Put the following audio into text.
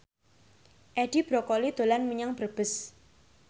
Edi Brokoli dolan menyang Brebes